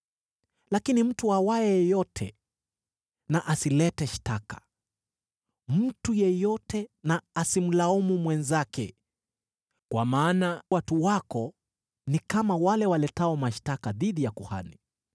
“Lakini mtu awaye yote na asilete shtaka, mtu yeyote na asimlaumu mwenzake, kwa maana watu wako ni kama wale waletao mashtaka dhidi ya kuhani.